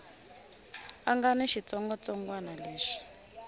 a nga ni xitsongwatsongwana lexi